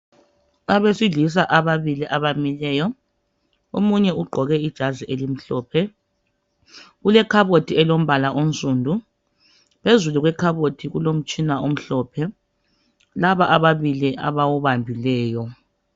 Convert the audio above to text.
Abesilisa ababili abamileyo, omunye ugqoke ijazi elimhlophe. Kulekhabothi elombala onsundu. Phezulu kwekhabothi kulomtshina omhlophe laba ababili abawubambileyo.